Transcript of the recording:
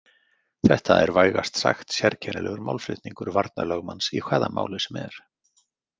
Þetta er vægast sagt sérkennilegur málflutningur varnarlögmanns í hvaða máli sem er.